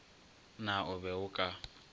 na o be o ka